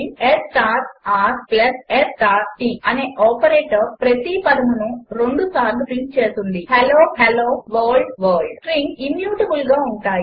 s r s t అనే operation ప్రతి పదమును రెండుసార్లు ప్రింట్ చేస్తుంది హెల్లోహెల్లోవర్ల్డ్వర్ల్డ్ స్ట్రింగ్స్ ఇమ్యూటబుల్గా ఉంటాయి